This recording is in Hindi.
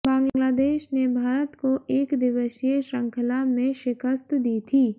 बांग्लादेश ने भारत को एकदिवसीय श्रृंखला में शिकस्त दी थी